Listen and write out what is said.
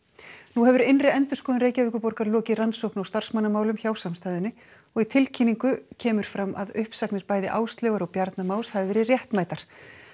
nú hefur innri endurskoðun Reykjavíkurborgar lokið rannsókn á starfsmannamálum hjá samstæðunni og í tilkynningu frá kemur fram að uppsagnir bæði Áslaugar og Bjarna Más hafi verið réttmætar